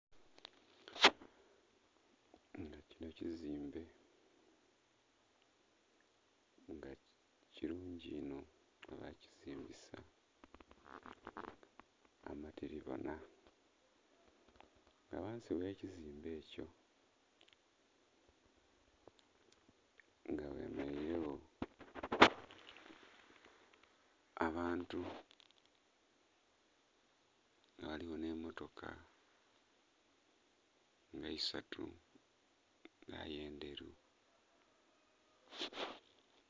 Kino kizimbe nga kilungi inho bakizimbisa amatilibona. Nga ghansi gh'ekizimbe ekyo nga ghemeleilegho abantu, ghaligho nh'emmotoka nga isatu nga aye ndheru.